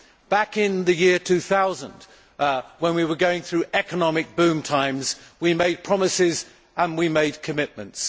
Back in the year 2000 when we were going through economic boom times, we made promises and we made commitments.